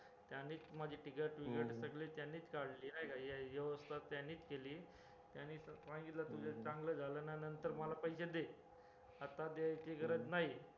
त्यांनीच माझी ticket बिकट सगळी काढली नायका व्यवस्था त्यांनीच केली त्यांनी सांगितलं तुझं चांगलं झालं ना नंतर मला पैशे दे आता द्यायची गरज नाही